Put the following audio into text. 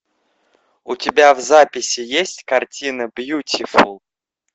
у тебя в записи есть картина бьютифул